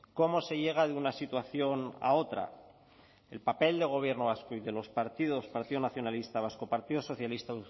cómo se llega de una situación a otra el papel del gobierno vasco y de los partidos partido nacionalista vasco partido socialista